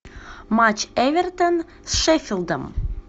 матч эвертон с шеффилдом